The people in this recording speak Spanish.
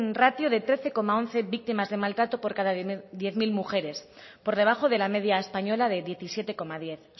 ratio de trece coma once víctimas de maltrato por cada diez mil mujeres por debajo de la media española de diecisiete coma diez